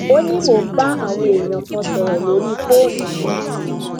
ó ní mò ń bá àwọn èèyàn kan sọrọ lórí fóònù yẹn